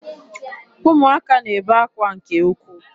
Ụmụaka n'ebe akwa nke ukwuu.